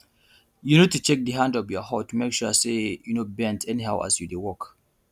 you need to check di hand of your hoe to make sure say you no bend anyhow as you dey work